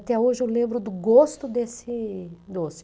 Até hoje eu lembro do gosto desse doce.